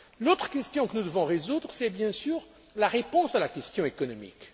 juin. L'autre question que nous devons résoudre, c'est la réponse à la question économique.